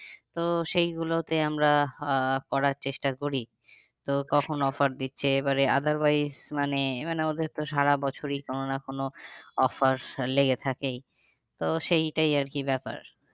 তো সেই গুলোতে আমরা আহ করার চেষ্টা করি তো কখন offer দিচ্ছে এবার otherwise মানে মানে ওদের তো সারা বছরই কোনো না কোনো offer লেগে থেকেই তো সেইটাই আর কি ব্যাপার।